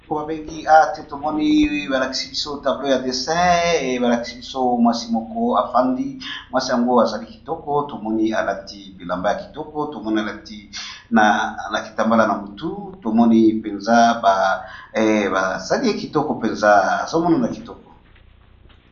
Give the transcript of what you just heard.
Oyo babengi cahier de dessin tomoni balakisi biso mwana mwasi ,avandi alati elamba ya langi ya bozinga pe na Langi ya motani.